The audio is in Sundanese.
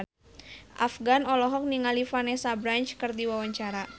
Afgan olohok ningali Vanessa Branch keur diwawancara